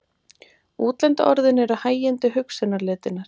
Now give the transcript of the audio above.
Útlendu orðin eru hægindi hugsunarletinnar.